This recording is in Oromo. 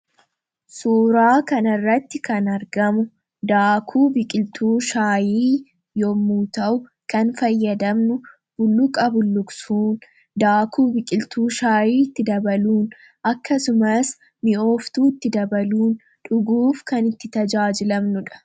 Suuraa kana irratti kan argamu daakuu biqiltuu shaayii yommuu ta'u, kan fayyadamnu bulluqa bulluqsuun, daakuu biqiltuu shaayii itti dabaluun, akkasumas mi'ooftuu itti dabaluun, dhuguuf kan itti tajaajilamnu dha.